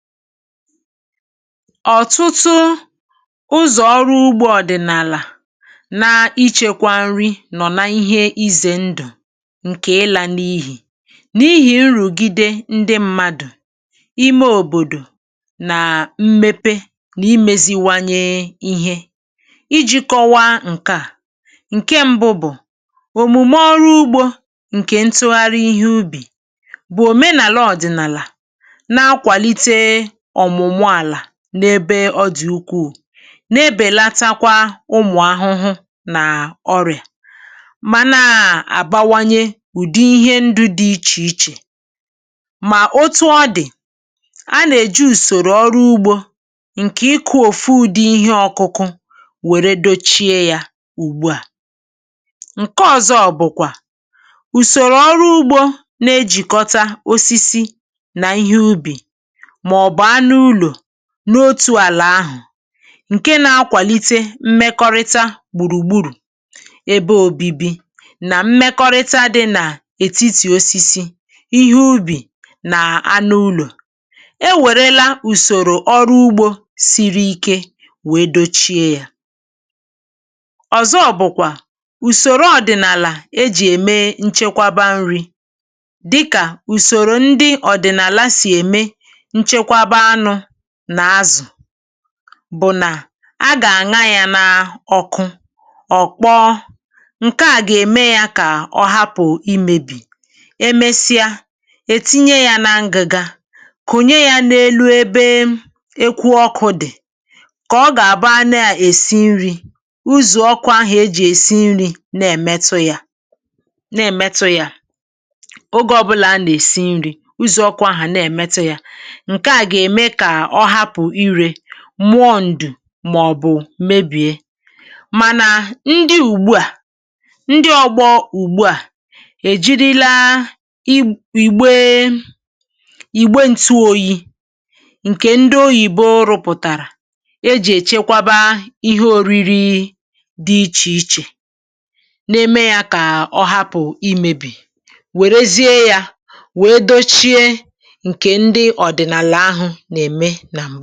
Ọ̀tụtụ ụzọ̀ ọrụ ugbȯ ọ̀dị̀nàlà na-ichėkwȧ nri nọ̀ na ihé izė ndụ̀ ǹkè ịlȧ n’ihì, n’ihì nrùgide ndị mmadụ̀, ime òbòdò nà mmepe nà imėziwanye ihé iji̇ kọ̇wa ǹke à ǹke mbụ bụ̀, òmùme ọrụ ugbȯ ǹkè ntụgharị ihé ubì bụ̀ òmenàla ọ̀dị̀nàlà nà a kwalite ọmụmụ àlà n’ebe ọ dị̀ ukuù na-ebèlatakwa ụmụ̀ ahụhụ nà ọrị̀à mà na um àbawanye ụ̀dị ihe ndụ̇ dị ichè ichè mà otu ọdị̀ a nà-èju ùsòrò ọrụ ugbȯ ǹkè ịkụ̇ òfu ụ̀dị ihé ọkụkụ wère dochie yȧ ùgbu à. Ṅke ọ̀zọ bụ̀kwà ùsòrò ọrụ ugbȯ na-ejìkọta osisi nà ihé ubì maọbụ̀ anụ úlo n’otù àlà ahụ̀ ǹke nȧ-akwàlite mmekọrịta gbùrùgburù ebe òbibi nà mmekọrịta dị nà ètitì osisi ihé ubì nà anụ ulọ̀, é wèrela ùsòrò ọrụ ugbȯ siri ike wèe dochie yȧ. Ọ̀zọ bụ̀kwà ùsòrò ọ̀dị̀nàlà e jì ème nchekwaba nri̇ dịkà ùsòrò ndị ọ̀dị̀nàla sì ème nchekwaba anụ nà azụ bụ nà a gà-àna ya n’ọkụ ọ̀ kpọọ ǹke à gà-ème yá kà ọ̀hapụ̀ imėbì emesịa ètinye yá nà ngị̀ga konye ya n’elu ebe um ekwu ọkụ̇ dị̀ kà ọ gà-àbụ a na-èsi nri̇ ụzó ọkụ̇ ahụ̀ ejì èsi nri̇ na-èmetụ ya na-èmetụ ya ogė ọ̀bụlà a nà-èsi nri̇ ụzọ̀ ọkụ̇ ahụ̀ na-èmetụ yȧ. Nkè a gá ème kà ọ hapụ ire mụọ ndù màọ̀bụ̀ mebìe mànà, ndị ùgbu à ndị ọ̀gbọ ùgbu à èjirila i ìgbe um ìgbe ntụ oyi̇ ǹkè ndị oyìbo rụpụ̀tàrà e jì èchekwaba ihé òriri dị ichè ichè na-eme yȧ kà ọ hapụ̀ imėbì wèrezie yȧ wee dochie ǹkè ndị ọ̀dị̀nàlà ahụ̇ ǹkẹ̀ m.